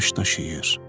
Daş daşıyır.